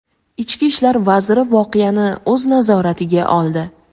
Ichki ishlar vaziri voqeani o‘z nazoratiga oldi.